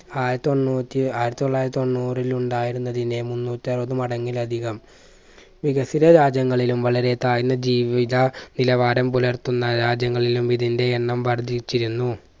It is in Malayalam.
ആയിരത്തൊണ്ണൂറ്റി ആയിരത്തി തൊള്ളായിരത്തി തൊണ്ണൂറിൽ ഉണ്ടായിരുന്നതിനെ മുന്നൂറ്റാറവത് മടങ്ങിലതികം വികസിത രാജ്യങ്ങലും വളരെ താഴ്ന്ന ജീവിത നിലവാരം പുലർത്തുന്ന രാജ്യങ്ങളിലും ഇതിന്റെ എണ്ണം വർദ്ധിച്ചിരുന്നു